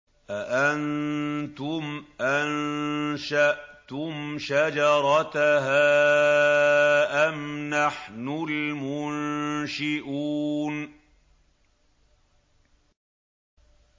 أَأَنتُمْ أَنشَأْتُمْ شَجَرَتَهَا أَمْ نَحْنُ الْمُنشِئُونَ